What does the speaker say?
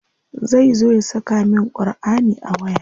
Zai zo ya saka min Ƙurʼani a waya?